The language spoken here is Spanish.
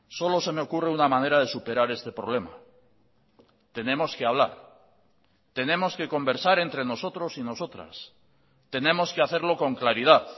solo se me ocurre una manera de superar este problema tenemos que hablar tenemos que conversar entre nosotros y nosotras tenemos que hacerlo con claridad